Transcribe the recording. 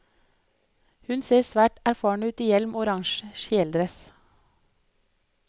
Hun ser svært erfaren ut i hjelm og orange kjeledress.